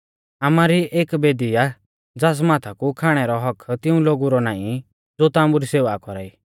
आमारी एक बेदी आ ज़ास माथा कु खाणै रौ हक्क्क तिऊं लोगु रौ नाईं ज़ो ताम्बु री सेवा कौरा ई